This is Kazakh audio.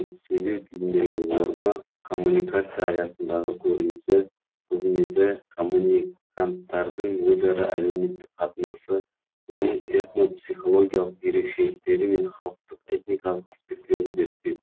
сөйлеу тіліндегі орны коммуникация аясындағы көрінісі қызметі коммуниканттардың өзара әлеуметтік қатынасы оның этнопсихологиялық ерекшеліктері мен халықтық этникалық аспектілерін зерттеу